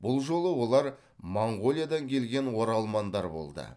бұл жолы олар моңғолиядан келген оралмандар болды